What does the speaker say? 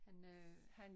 Han øh han